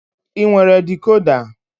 Ị nwere dikoda?